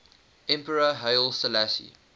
emperor haile selassie